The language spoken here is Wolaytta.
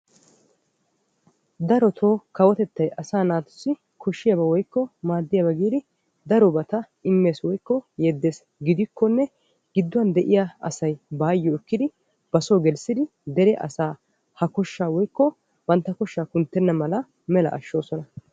Darotoo kawotettay asaa naatussi maaddiyaaba woykko koshshiyaaba giidi darobata immees woykko yeddees. gidikkonne gidduwaan de'iyaa asay bayoo ekkidi basoo gelissidi asaa woykko bantta koshshaa kunttenna mala mela ashshoosona.